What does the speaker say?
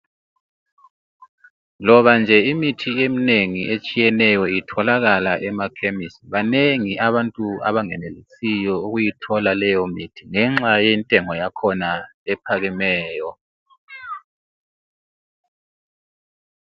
Loba nje imithi eminengi etshiyeneyo itholakala emakhemisi, banengi abantu abangenelisiyo ukuyithola leyomithi ngenxa yentengo yakhona ephakemeyo.